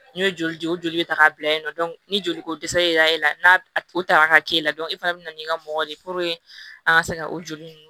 N'i ye joli di o joli bɛ ta k'a bila yen nɔ ni joli ko dɛsɛ yera e la n'a o ta ka k'e la e fana bɛ na n'i ka mɔgɔ de ye an ka se ka o joli ninnu